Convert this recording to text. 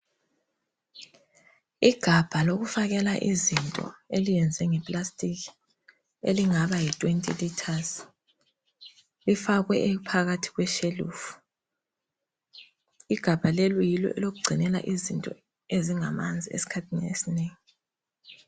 Igabha lokufakela izinto elenziwe ngeplastic elingaba Yi 20 litres lifakwe phakathi kweshelufu , igabha leli yilo ekugcinela izinto ezingamanzi eskhathini esinengi